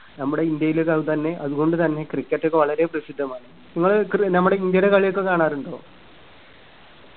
നമ്മുടെ ഇന്ത്യയിലത് തന്നെ അതുകൊണ്ടു തന്നെ cricket ഒക്കെ വളരെ പ്രസിദ്ധമാണ് ഇങ്ങള് കെ നമ്മുടെ ഇന്ത്യയുടെ കളിയൊക്കെ കാണാറിണ്ടോ